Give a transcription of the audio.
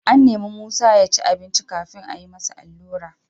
An nemi Musa ya ci abinci kafin a yi masa allura.